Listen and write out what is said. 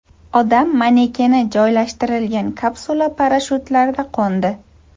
Odam manekeni joylashtirilgan kapsula parashyutlarda qo‘ndi.